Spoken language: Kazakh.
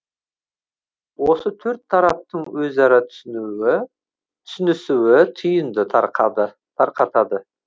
осы төрт тараптың өзара түсінісуі түйінді тарқатады